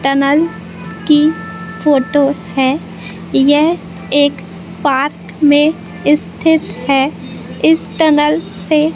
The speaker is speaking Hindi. टनल की फोटो है यह एक पार्क में स्थित है इस टनल से--